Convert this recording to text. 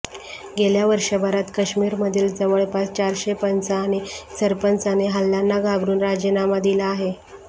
गेल्या वर्षभरात काश्मीरधील जवळपास चारशे पंच आणि सरपंचांनी हल्ल्यांना घाबरून राजीनामा दिला आहे